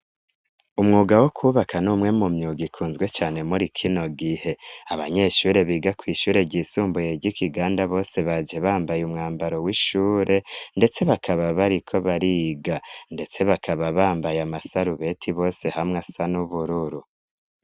Umwuga wo kwubaka ni umwe mu myuga ikunzwe cane muri kino gihe, abanyeshure biga kw'ishure ry'isumbuye ry'i Kiganda bose baje bambaye umwambaro w'ishure, ndetse bakaba bari ko bariga, ndetse bakaba bambaye amasarubeti bose hamwe asa n'ubururu.